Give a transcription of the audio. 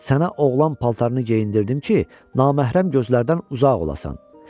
Sənə oğlan paltarını geyindirdim ki, naməhrəm gözlərdən uzaq olasan.